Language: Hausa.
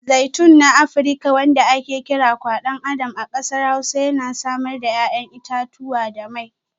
Zaitun na Afirka wanda ake kira Kwadon Adam a kasar Hausa yana samar da 'ya'yan itatuwa da mai.